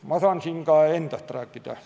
Ma saan siin ka endast rääkida.